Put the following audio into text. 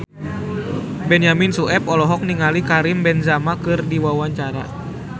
Benyamin Sueb olohok ningali Karim Benzema keur diwawancara